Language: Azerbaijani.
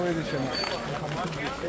həmişə hamının qabağındadır.